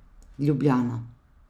Ljubljana.